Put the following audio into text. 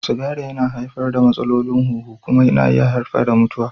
Sigari yana haifar da matsalolin huhu kuma yana iya haifar da mutuwa.